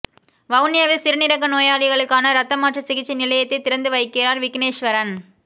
வவுனியாவில் சிறுநீரக நோயாளர்களுக்கான இரத்தமாற்று சிகிச்சை நிலையத்தை திறந்து வைக்கிறார் விக்கினேஸ்வரன்